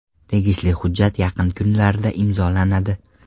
Tegishli hujjat yaqin kunlarda imzolanadi.